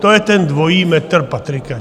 To je ten dvojí metr Patrika.